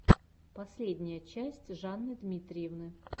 последняя часть жанны дмитриевны